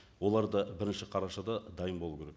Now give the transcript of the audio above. олар да бірінші қарашада дайын болу керек